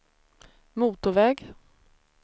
motorväg